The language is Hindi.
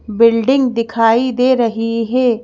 बिल्डिंग दिखाई दे रही है।